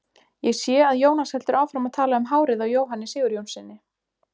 Ég sé að Jónas heldur áfram að tala um hárið á Jóhanni Sigurjónssyni.